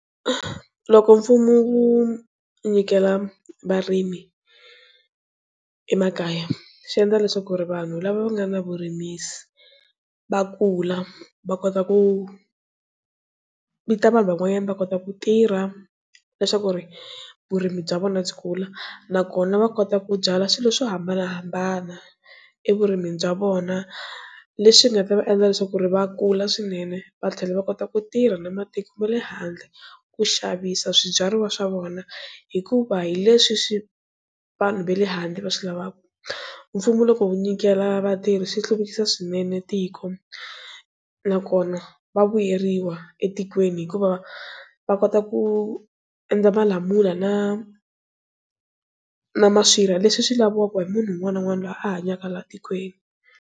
Loko mfumo wu nyikela varimi emakaya swi endla leswaku ri vanhu lava nga na vurimisi va kula va kota ku vita vanhu van'wanyana va kota ku tirha leswaku ri vurimi bya vona byi kula nakona va kota ku byala swilo swo hambanahambana evurimini bya vona leswi nga ta va endla leswaku ku ri va kula swinene va tlhela va kota ku tirha na matiko ma le handle. Ku xavisa swibyariwa swa vona hikuva hileswi swi vanhu va le handle va swi lavaka mfumo loko wu nyikela vatirhi swi hluvukisa swinene tiko nakona va vuyeriwa etikweni hikuva va kota ku endla malamula na na maswirha leswi swi lavaka hi munhu un'wana na un'wana loyi a hanyaka la tikweni.